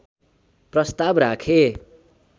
प्रस्ताव राखे